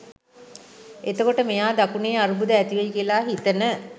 එතකොට මෙයා දකුණේ අර්බුද ඇතිවෙයි කියලා හිතන